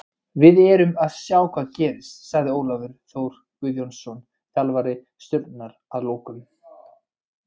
Við verðum að sjá hvað gerist, sagði Ólafur Þór Guðbjörnsson þjálfari Stjörnunnar að lokum.